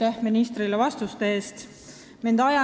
Aitäh ministrile vastuste eest!